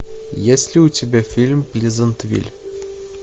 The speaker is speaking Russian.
есть ли у тебя фильм плезантвиль